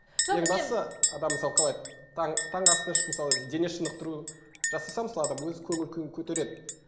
адам мысалы қалай таңғы асты ішіп мысалы дене шынықтыру жасаса мысалы адам өз көңіл күйін көтереді